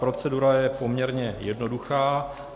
Procedura je poměrně jednoduchá.